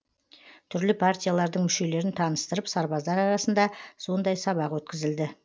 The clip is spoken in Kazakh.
түрлі партиялардың мүшелерін таныстырып сарбаздар арасында сондай сабақ өткізілді